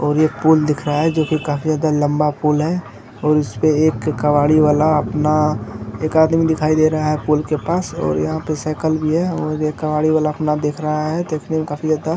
और ये पुल दिख रहा है जो की काफी ज्यादा लंबा पुल है और उसके पर एक कवाड़ी वाला अपना एक आदमी दिखाई दे रहा है पुल के पास और यहाँ पे साइकल भी है और ये कबाड़ी वाला अपना देख रहा है देखने में काफी ज्यादा --